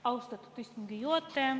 Austatud istungi juhataja!